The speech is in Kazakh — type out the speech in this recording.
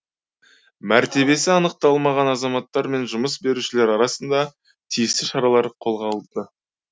мәртебесі анықталмаған азаматтар мен жұмыс берушілер арасында тиісті шаралар қолға алынды